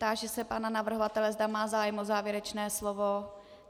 Táži se pana navrhovatele, zda má zájem o závěrečné slovo?